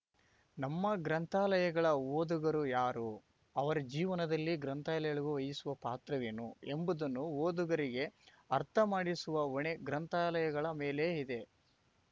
ನಮ್ಮ ಗ್ರಂಥಾಲಯಗಳ ಓದುಗರು ಯಾರು ಅವರ ಜೀವನದಲ್ಲಿ ಗ್ರಂಥಾಲಯಗಳು ವಹಿಸುವ ಪಾತ್ರವೇನು ಎಂಬುದನ್ನು ಓದುಗರಿಗೆ ಅರ್ಥ ಮಾಡಿಸುವ ಹೊಣೆ ಗ್ರಂಥಾಲಯಗಳ ಮೇಲೆಯೇ ಇದೆ